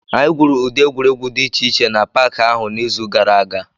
Anyị gwuru ụdị egwuregwu dị iche iche n'Paakị ahụ n'izu gara aga